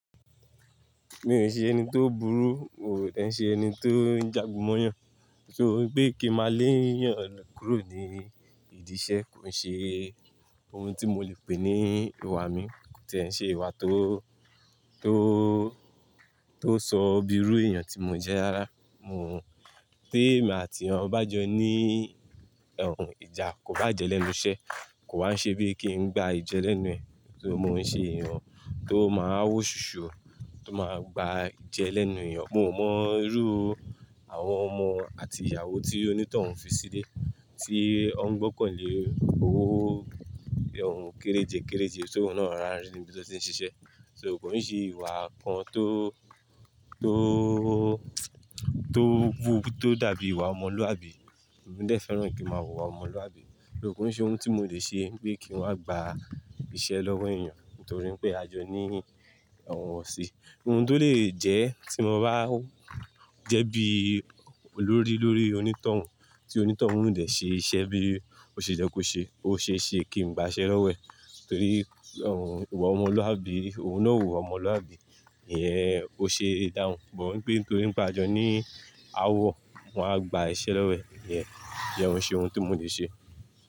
Mi ò ṣe ẹni tó burú, miò dẹ̀ n ṣe ẹni tó ń jagun móyàn. So wipé kí n màá lé èyàn kúrò ní ìdí iṣẹ́ kò n ṣe ohun tí mo le pè ní ìwà mi. Kò tí è ń ṣe ìwà tó, tó, tó sọ bíi irú ènìyàn tí mo jẹ́ rárá. Mio, tí èmi àti eyan bá jọ ní ìjà kò bá jẹ́ lẹ́nu iṣẹ́, kò wá n ṣe bíi kí n gba ijẹ́ lẹ́nu ẹ̀, so mo ń ṣe èyàn tó máa ń wò ṣuṣu, tó máa gba ijẹ́ lẹ́nu èyàn. Mio mọ irú àwọn ọmọ àti ìyàwó tí onítọ̀hún fi sílé, tí ọ́n gbọ́kàn lé owó kéréje kéréje, tọ́un náà rorá n rí nibí tió ti ń ṣiṣẹ́. Ṣo kò ń ṣe ìwà kan tó, tó, tó wù tó dàbí ìwà ọmọlúwàbí. Emi dè fẹ́ràn kí màá wùwà ọmọlúwàbí. Though kò n ṣe ohun tí mo lè ṣe pé kí n wá gba iṣẹ́ lọ́wọ́ èyàn, nítorí pé a jọ ní ọ̀wọ́nṣẹ́. Ohun tó lè jẹ tí mo bá jẹ́ bí olórí lórí onítọ̀hún, tí onítọ̀hún o dè ṣe iṣẹ́ bí ó ṣe yẹ́ kó ṣe, ó ṣeé ṣe kí n gba iṣẹ́ lọ́wọ́ ẹ̀, torí, ìwà ọmọlúwàbí, òun náà ò wùwà ọmọlúwàbí. Iyẹn, ó ṣe dáhùn, but wipé nítorí pé a jọ ní aáwọ̀, mo wá gba iṣẹ́ lọ́wọ́ ẹ̀. Ìyẹn, iyẹ́n o n ṣe ohun tí mo lè ṣe.